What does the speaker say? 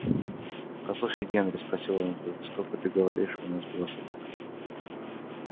послушай генри спросил он вдруг сколько ты говоришь у нас было собак